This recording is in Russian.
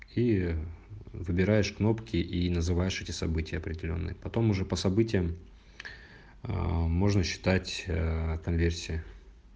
и выбираешь кнопки и называешь эти события определённые потом уже по событиям можно считать конверсию